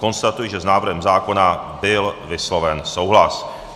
Konstatuji, že s návrhem zákona byl vysloven souhlas.